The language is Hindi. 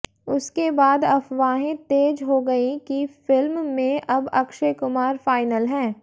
उसके बाद अफवाहें तेज हो गई कि फिल्म में अब अक्षय कुमार फाइनल हैं